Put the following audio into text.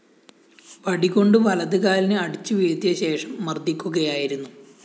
വടി കൊണ്ട് വലത് കാലിന് അടിച്ചുവീഴ്ത്തിയശേഷം മര്‍ദ്ദിക്കുകയായിരുന്നു